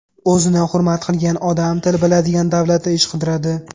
O‘zini hurmat qilgan odam til biladigan davlatda ish qidiradi.